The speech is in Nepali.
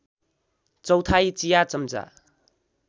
चौथाइ चिया चम्चा